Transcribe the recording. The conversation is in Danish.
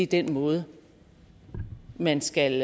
den måde man skal